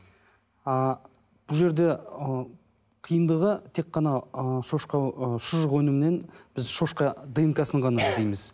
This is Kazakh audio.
ы бұл жерде ы қиындығы тек қана ы шошқа ы шұжық өнімінен біз шошқа днк сын ғана іздейміз